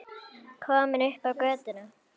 Komin upp á götuna.